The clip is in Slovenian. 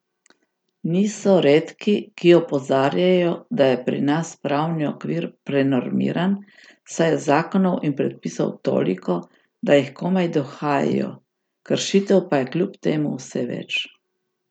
Niso redki, ki opozarjajo, da je pri nas pravni okvir prenormiran, saj je zakonov in predpisov toliko, da jih komaj dohajajo, kršitev pa je kljub temu vse več.